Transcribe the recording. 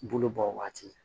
Bolo bɔ waati